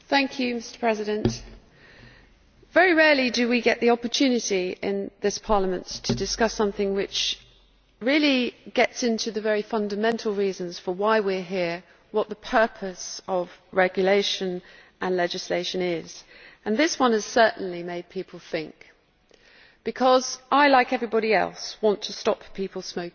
Mr President, very rarely do we get the opportunity in this Parliament to discuss something which really gets into the very fundamental reasons for why we are here and what the purpose of regulation and legislation is, and this one will certainly make people think because I, like everyone else, want to stop people smoking.